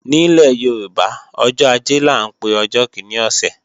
Nílẹ̀ Yorùbá, ọjọ́ ajé là ń pe ọjọ́ kíní ọ̀sẹ̀